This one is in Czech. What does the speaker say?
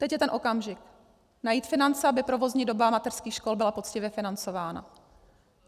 Teď je ten okamžik, najít finance, aby provozní doba mateřských škol byla poctivě financována.